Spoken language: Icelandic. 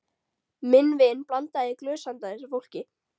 Minn vin blandaði í glös handa þessu fólki.